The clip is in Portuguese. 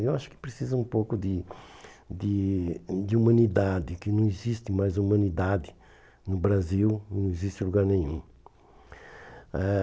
Eu acho que precisa um pouco de de de humanidade, que não existe mais humanidade no Brasil, não existe em lugar nenhum. Eh